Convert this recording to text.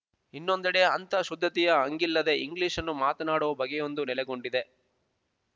ಇನ್ನೊಂದೆಡೆ ಅಂಥ ಶುದ್ಧತೆಯ ಹಂಗಿಲ್ಲದೆ ಇಂಗ್ಲೀಷನ್ನು ಮಾತಾಡುವ ಬಗೆಯೊಂದು ನೆಲೆಗೊಂಡಿದೆ